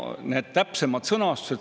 Need täpsemad sõnastused …